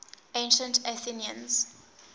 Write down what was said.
ancient athenians